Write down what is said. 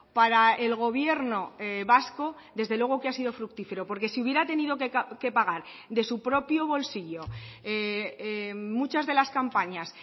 para el gobierno vasco desde luego que ha sido fructífero porque si hubiera tenido que pagar de su propio bolsillo muchas de las campañas